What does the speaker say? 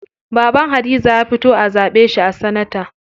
Baban Hadiza ya fito a zaɓe shi a sanata.